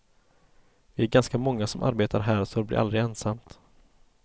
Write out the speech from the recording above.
Vi är ganska många som arbetar här så det blir aldrig ensamt.